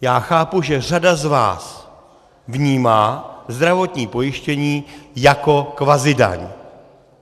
Já chápu, že řada z vás vnímá zdravotní pojištění jako kvazidaň.